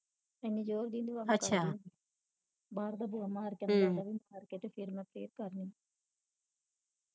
ਇੰਨੀ ਜੋਰ ਦੀ ਨਹੀਂ ਬਾਹਰ ਦਾ ਬੂਹਾ ਮਾਰ ਕੇ ਤੇ ਅੰਦਰ ਈ ਕਰਕੇ ਤੇ ਫਿਰ ਮੈਂ ਫਿਰ ਕਰ ਲੈਨੀ